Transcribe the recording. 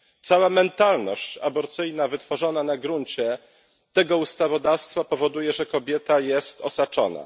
Cała mentalność aborcyjna wytworzona na gruncie tego ustawodawstwa powoduje, że kobieta jest osaczona.